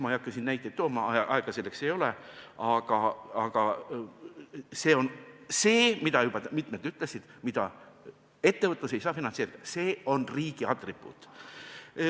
Ma ei hakka siin näiteid tooma, aega selleks ei ole, aga see on see, mida juba mitmed märkisid: seda ettevõtlus ei saa finantseerida, see on riigi atribuut.